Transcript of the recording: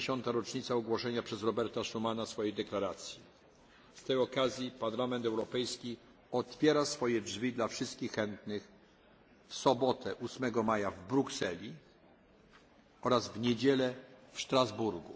60. rocznica ogłoszenia przez Roberta Schumana swojej deklaracji. Z tej okazji Parlament Europejski otwiera swe drzwi dla wszystkich chętnych w sobotę 8 maja w Brukseli oraz w niedzielę w Strasburgu.